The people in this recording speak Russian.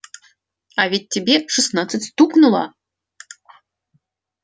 а ведь тебе шестнадцать стукнуло